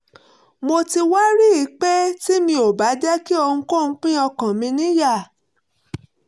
mo ti wá rí i pé tí mi ò bá jẹ́ kí ohunkóhun pín ọkàn mi níyà